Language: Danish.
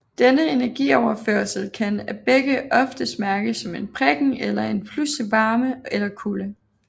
Denne energioverførsel kan af begge ofte mærkes som en prikken eller en pludselig varme eller kulde